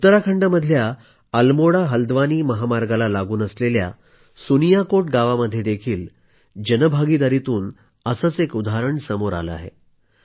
उत्तराखंडमधल्या अलमोडा हलव्दानी महामार्गाला लागून असलेल्या सुनियाकोट गावामध्येही जन भागीदारीतून असेच एक उदाहरण सामोरं आलं आहे